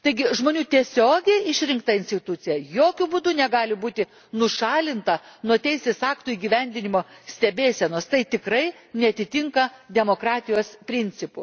Žmonių tiesiogiai išrinkta institucija jokiu būdu negali būti nušalinta nuo teisės aktų įgyvendinimo stebėsenos, tai tikrai neatitinka demokratijos principų.